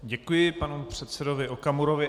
Děkuji panu předsedovi Okamurovi.